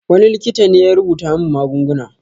Wani likita ne ya rubuta min magunguna.